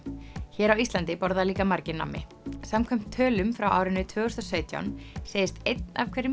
hér á Íslandi borða líka margir nammi samkvæmt tölum frá árinu tvö þúsund og sautján segist einn af hverjum